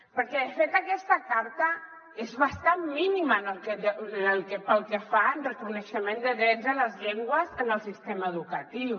perquè de fet aquesta carta és bastant mínima pel que fa al reconeixement de drets de les llengües en el sistema educatiu